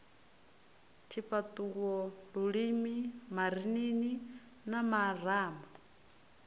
tshifhaṱuwo lulimi marinini na marama